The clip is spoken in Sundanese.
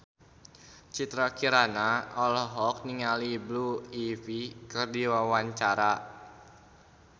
Citra Kirana olohok ningali Blue Ivy keur diwawancara